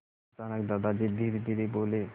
अचानक दादाजी धीरेधीरे बोले